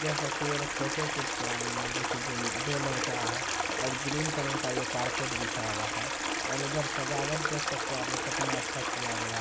देख सकते हैं ये लोग फोटोशूट पे आये हैं जो कि जो- दो लड़का है और ग्रीन कलर का ये कारपेट बिछा हुआ हैं और उधर सजावट देख सकते हैं आप लोग कितना अच्छा किया गया--